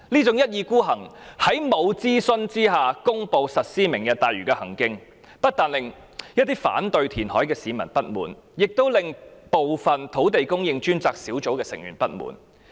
政府未經諮詢便公布實施"明日大嶼"的舉動，不但令反對填海的市民不滿，亦令部分專責小組成員不滿。